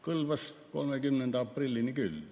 Kõlbas 30. aprillini küll.